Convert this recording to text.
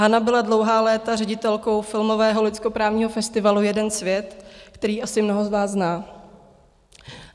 Hana byla dlouhá léta ředitelskou filmového lidskoprávního festivalu Jeden svět, který asi mnoho z vás zná.